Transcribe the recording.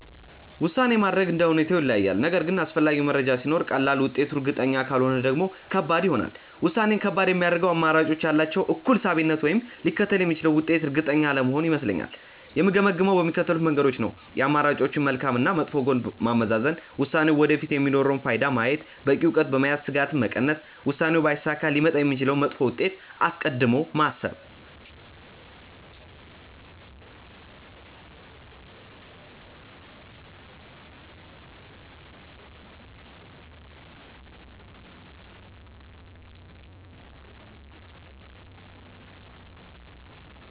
ውሳኔ ማድረግ እንደ ሁኔታው ይለያያል፤ ነገር ግን አስፈላጊ መረጃ ሲኖር ቀላል፣ ውጤቱ እርግጠኛ ካልሆነ ደግሞ ከባድ ይሆናል። ውሳኔን ከባድ የሚያደርገው አማራጮቹ ያላቸው እኩል ሳቢነት ወይም ሊከተል የሚችለው ውጤት እርግጠኛ አለመሆን ይመስለኛል። የምገመግመው በሚከተሉት መንገዶች ነው፦ የአማራጮችን መልካም እና መጥፎ ጎን ማመዛዘን፣ ውሳኔው ወደፊት የሚኖረውን ፋይዳ ማየት፣ በቂ እውቀት በመያዝ ስጋትን መቀነስ፣ ውሳኔው ባይሳካ ሊመጣ የሚችለውን መጥፎ ውጤት አስቀድሞ ማሰብ።